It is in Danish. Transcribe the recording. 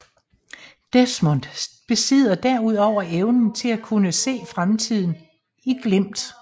Desmond besidder derudover evnen til at kunne se fremtiden i glimt